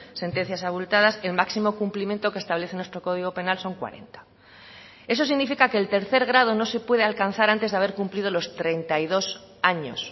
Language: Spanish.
sentencias abultadas el máximo cumplimiento que establece nuestro código penal son cuarenta eso significa que el tercer grado no se puede alcanzar antes de haber cumplido los treinta y dos años